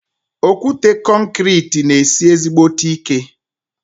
Okwute konkrete ná esi ezígbóté ike